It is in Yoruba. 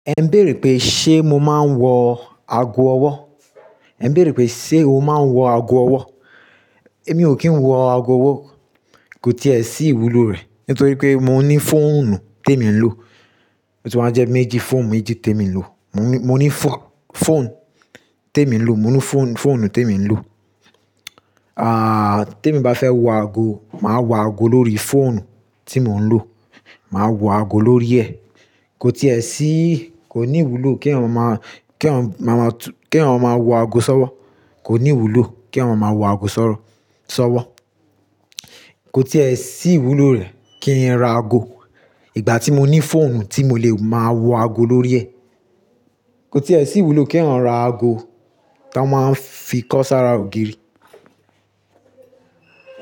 Ẹ ń bèèrè pé ṣe mo máa ń wọ ago ọwọ́? Ẹ ń bèèrè pé ṣé o máa ń wọ ago ọwọ́? Èmi ò kí ń wọ ago ọwọ́, kò tí è sí ìwúlò rẹ̀ nítorí pé mò ní fóònù tí èmi ń lò. Ó ti wá jẹ́ méjì fóònù méjì tí èmi ń lò. Mò ní, mò ní fọ, fóònù tí èmi ń lò, mò ní fón, fóònù tí èmi ń lò. Tí èmi bá fẹ́ wo ago, màá wo ago lórí fóònù tí mò ń lò. Màá wọ ago lórí ẹ̀. Kò tí è sí, kò ní ìwúlò kí èèyàn máa, kí èèyàn máa tu, kí èèyàn máa wọ ago sọ́wọ́. Kò ní ìwúlò kí ọmọ máa wọ ago sọ̀rọ̀, sọ́wọ́. Kò tí ẹ sí ìwúlò rẹ̀ kí n ra ago. Ìgbà tí mò ní fóònù tí mo lè máa wo ago lórí ẹ̀. Kò tí è sí ìwúlò kí èèyàn ra ago tán máa ń fi kọ sára ògiri.